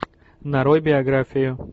нарой биографию